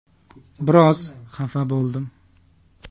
Biroz xafa bo‘ldim.